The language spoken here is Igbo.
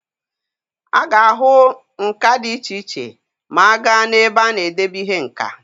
A ga-ahụ nka dị iche iche ma a gaa n'ebe a na-edebe ihe nka.